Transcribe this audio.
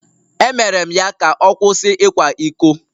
Emere m ya ka ọ kwụsị ịkwa iko